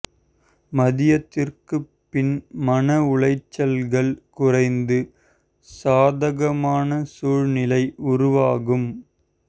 மதியத்திற்கு பின் மன உளைச்சல்கள் குறைந்து சாதகமான சூழ்நிலை உருவாகும்